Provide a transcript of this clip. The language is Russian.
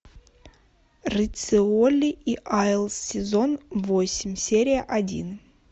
риццоли и айлс сезон восемь серия один